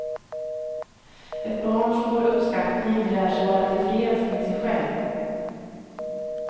Ett barn som får uppskattning lär sig vara tillfreds med sig själv.